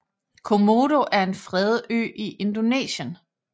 Komodo er en fredet ø i Indonesien